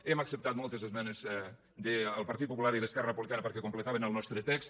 hem acceptat moltes esmenes del partit popular i d’esquerra republicana perquè completaven el nostre text